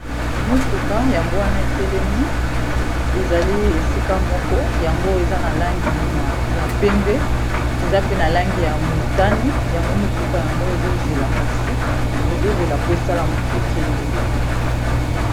motuka yango wana etelemi ezali esika moko yango eza na langi ya pembe eza pe na langi ya motane yango motuka yango ezozela kasi ezozela po esalaekende